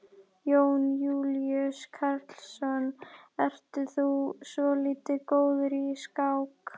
Jón Júlíus Karlsson: Ert þú svolítið góður í skák?